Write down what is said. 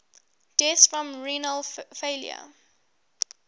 deaths from renal failure